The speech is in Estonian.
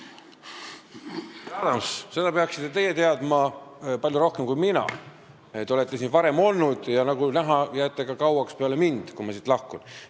Härra Adams, teie peaksite seda teadma palju paremini kui mina, sest teie olete siin varem olnud ja nagu näha, jääte ka kauaks peale seda, kui mina siit lahkun.